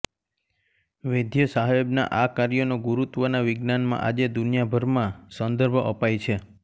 વૈદ્યસાહેબના આ કાર્યનો ગુરુત્વના વિજ્ઞાનમાં આજે દુનિયાભરમાં સંદર્ભ અપાય છે